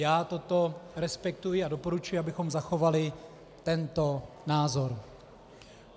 Já toto respektuji a doporučuji, abychom zachovali tento názor.